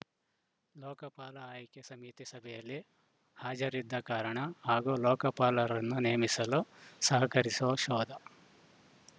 ಲೋಕಪಾಲ ಆಯ್ಕೆ ಸಮಿತಿ ಸಭೆಯಲ್ಲಿ ಹಾಜರಿದ್ದ ಕಾರಣ ಹಾಗೂ ಲೋಕಪಾಲರನ್ನು ನೇಮಿಸಲು ಸಹಕರಿಸುವ ಶೋಧ